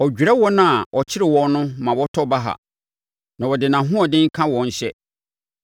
Ɔdwerɛ wɔn a ɔkyere wɔn no ma wɔtɔ baha; na ɔde nʼahoɔden ka wɔn hyɛ.